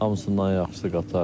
Hamısından yaxşısı qatardır.